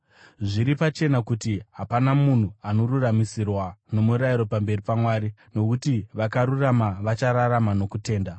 Zviri pachena kuti hapana munhu anoruramisirwa nomurayiro pamberi paMwari, nokuti, “Vakarurama vachararama nokutenda.”